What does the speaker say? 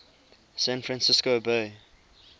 san francisco bay